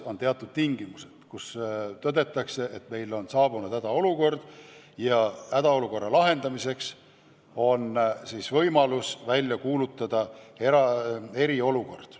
On teatud tingimused, mille korral tõdetakse, et meil on hädaolukord, ja hädaolukorra lahendamiseks on võimalik kuulutada välja eriolukord.